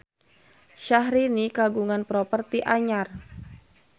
Syahrini kagungan properti anyar